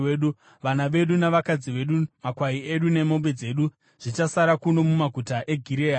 Vana vedu navakadzi vedu, makwai edu nemombe dzedu zvichasara kuno mumaguta eGireadhi.